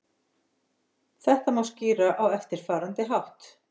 Þetta má skýra á eftirfarandi hátt.